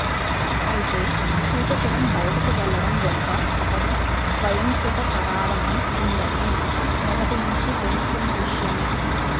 అయితే సూర్యకిరణ్ బయటకు వెళ్లడం వెనుక అతడి స్వయంకృతపరాధమే ఉందనే మాట మొదటి నుంచి తెలుస్తున్న విషయమే